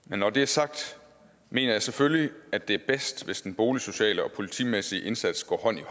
men når det er sagt mener jeg selvfølgelig at det er bedst hvis den boligsociale og politimæssige indsats går hånd i